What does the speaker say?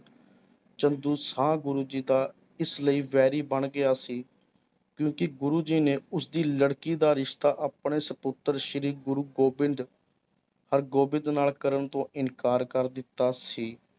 ਚੰਦੂ ਸ਼ਾਹ ਗੁਰੂ ਜੀ ਦਾ ਇਸ ਲਈ ਵੈਰੀ ਬਣ ਗਿਆ ਸੀ ਕਿਉਂਕਿ ਗੁਰੂ ਜੀ ਨੇ ਉਸਦੀ ਲੜਕੀ ਦਾ ਰਿਸ਼ਤਾ ਆਪਣੇ ਸਪੁੱਤਰ ਸ੍ਰੀ ਗੁਰੂ ਗੋਬਿੰਦ ਹਰਿਗੋਬਿੰਦ ਨਾਲ ਕਰਨ ਤੋਂ ਇਨਕਾਰ ਕਰ ਦਿੱਤਾ ਸੀ।